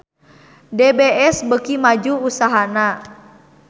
DBS beuki maju usahana